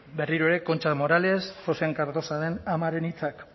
berriro ere concha morales joxean cardosaren amaren hitzak